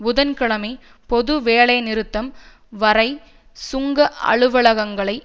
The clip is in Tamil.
புதன்கிழமை பொது வேலைநிறுத்தம் வரை சுங்க அலுவலகங்களை